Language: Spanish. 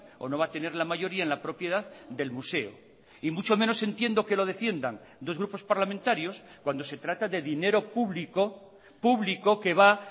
o no va a tener la mayoría en la propiedad del museo y mucho menos entiendo que lo defiendan dos grupos parlamentarios cuando se trata de dinero público público que va